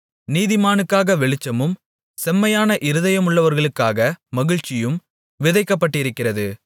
நீதிமானுக்காக வெளிச்சமும் செம்மையான இருதயமுள்ளவர்களுக்காக மகிழ்ச்சியும் விதைக்கப்பட்டிருக்கிறது